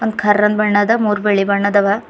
ಕರ್ರನ್ ಬಣ್ಣ ಅದ ಮುರ್ ಬಿಳಿ ಬಣ್ಣದ್ ಅವ.